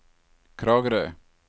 Kragerø